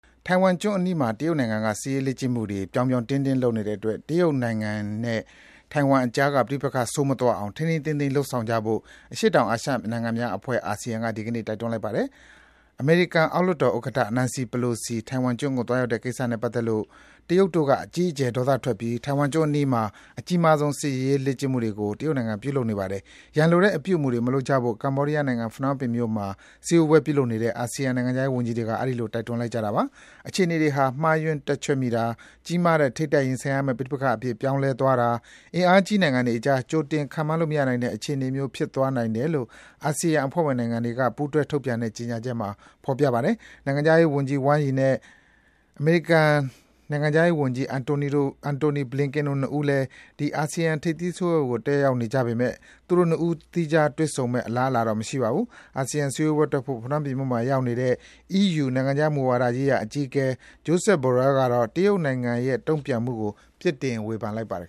ထိုင်ဝမ်ကျွန်းအနီးမှာ တရုတ်နိုင်ငံက ပြောင်ပြောင်တင်းတင်း စစ်ရေးလေ့ကျင့်နေတဲ့အတွက် တရုတ်နဲ့ ထိုင်ဝမ်ကြားက ပဋိပက္ခ ပိုဆိုးမသွားအောင် ထိန်းထိန်းသိမ်းသိမ်း လုပ်ဆောင်ကြဖို့ အရှေ့တောင်အာရှနိုင်ငံများအဖွဲ့ အာဆီယံက ဒီကနေ့ တိုက်တွန်းလိုက်ပါတယ်။ အမေရိကန်အောက်လွှတ်တော်ဥက္ကဋ္ဌ Nancy Pelosi ထိုင်ဝမ်ကျွန်းကို သွားရောက်တဲ့ကိစ္စနဲ့ပတ်သက်လို့ တရုတ်တို့က အကြီးအကျယ် ဒေါသထွက်ပြီး ထိုင်ဝမ်ကျွန်းအနီးမှာ အကြီးမားဆုံး စစ်ရေးလေ့ကျင့်မှုကို တရုတ်နိုင်ငံက ပြုလုပ်နေတာပါ။ ရန်လိုတဲ့အပြုအမူတွေမလုပ်ကြဖို့ ကမ္ဘောဒီးယားနိုင်ငံ၊ ဖနွမ်းပင်မြို့မှာ စည်းဝေးပွဲပြုလုပ်နေတဲ့ အာဆီယံနိုင်ငံခြားရေးဝန်ကြီးတွေက အဲဒီလို တိုက်တွန်းလိုက်ကြတာပါ။ အခြေအနေတွေဟာ မှားယွင်းတွက်ချက်မိတာ၊ ကြီးမားတဲ့ ထိပ်တိုက်ရင်ဆိုင်မယ့် ပဋိပက္ခအဖြစ် ပြောင်းလဲသွားတာ၊ အင်အားကြီးနိုင်ငံတွေကြား ကြိုတင် ခန့်မှန်းလို့ မရနိုင်တဲ့အခြေအနေမျိုး ဖြစ်သွားနိုင်တယ်လို့ အာဆီယံအဖွဲ့ဝင်နိုင်ငံတွေက ပူးတွဲ ထုတ်ပြန်တဲ့ ဒီနေ့ ကြေညာချက်မှာ ဖော်ပြထားပါတယ်။ တရုတ်နိုင်ငံခြားရေးဝန်ကြီး ဝမ်းယီနဲ့ အမေရိကန်နိုင်ငံခြားရေးဝန်ကြီး Antony Blinken တို့ ၂ ဦးလည်း ဒီ အာဆီယံ ထိပ်သီးစည်းဝေးပွဲကို တက်ရောက်နေကြပေမယ့် သူတို့ ၂ ဦးတည်း သီးခြားတွေ့ဆုံမယ့် အလားအလာတော့ မရှိပါဘူး။ အာဆီယံထိပ်သီးစည်းဝေးပွဲတက်ဖို့ ဖနွမ်းပင်မြို့မှာရောက်နေတဲ့ အီးယူ နိုင်ငံခြားမူဝါဒရေးရာအကြီးအကဲ Joseph Borrell ကတော့ တရုတ်နိုင်ငံရဲ့ တုံ့ပြန်မှုကို ပြစ်တင် ဝေဖန်လိုက်ပါတယ်